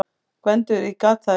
GVENDUR: Ég gat það ekki!